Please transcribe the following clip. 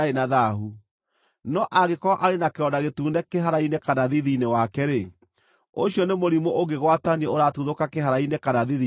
No angĩkorwo arĩ na kĩronda gĩtune kĩhara-inĩ kana thiithi-inĩ wake-rĩ, ũcio nĩ mũrimũ ũngĩgwatanio ũratuthũka kĩhara-inĩ kana thiithi-inĩ wake.